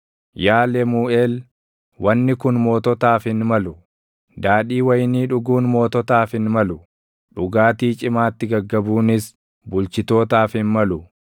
“Yaa Lemuuʼeel, wanni kun moototaaf hin malu; daadhii wayinii dhuguun moototaaf hin malu; dhugaatii cimaatti gaggabuunis bulchitootaaf hin malu;